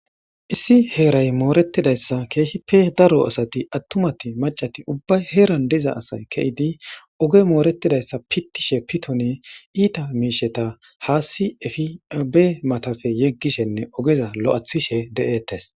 Issi heray moretidaysa keehippe daro asati atumat, mac'ati ubbay heran de'iza asay ke'id ogey moretidaysa pitishe piton iita miishata haasi efi be matappe yegishenne ogeza lo'ethishe de'etes.